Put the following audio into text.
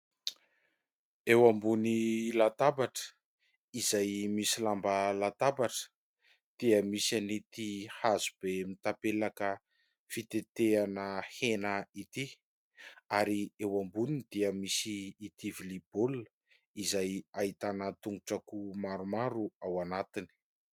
Eo ambony latabatra, izay misy lamba latabatra, dia misy an'ity hazo be mitapelaka fitetehana hena ity; ary eo amboniny dia misy ity lovia baolina izay ahitana tongotr'akoho maromaro ao anatiny.